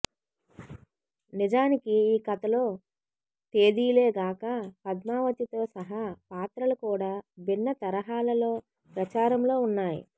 నిజానికి ఈ కథలో తేదీలే గాక పద్మావతితో సహా పాత్రలు కూడా భిన్న తరహాలలో ప్రచారంలో వున్నాయి